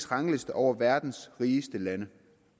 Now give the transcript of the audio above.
rangliste over verdens rigeste lande